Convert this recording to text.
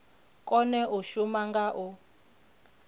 kone u shuma nga u